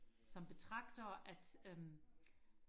som betragter at øhm